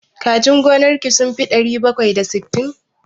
Kajin gonar ki sun fi ɗari bakwai da sittin?